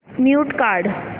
mute काढ